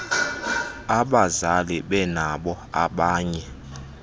abazali benabo abanye